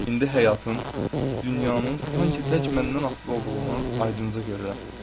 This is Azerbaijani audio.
İndi həyatın, dünyanın sanki tək məndən asılı olduğunu aydınca görürəm.